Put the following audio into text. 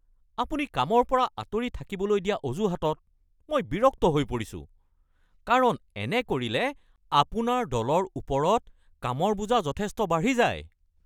আপুনি কামৰ পৰা আঁতৰি থাকিবলৈ দিয়া অজুহাতত মই বিৰক্ত হৈ পৰিছোঁ কাৰণ এনে কৰিলে আপোনাৰ দলৰ ওপৰত কামৰ বোজা যথেষ্ট বাঢ়ি যায়।